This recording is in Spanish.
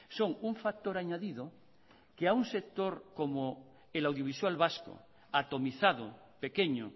son un factor añadido que a un sector como el audiovisual vasco atomizado pequeño